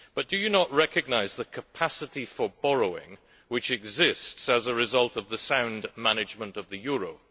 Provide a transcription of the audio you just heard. However, do you not recognise the capacity for borrowing which exists as a result of the sound management of the euro?